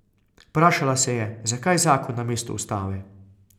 Vprašala se je, zakaj zakon namesto ustave.